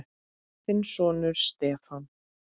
Þinn sonur, Stefán.